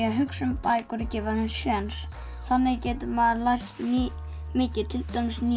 að hugsa um bækur og gefa þeim séns þannig getur maður lært mikið til dæmis ný